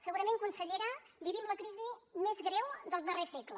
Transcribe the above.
segurament consellera vivim la crisi més greu del darrer segle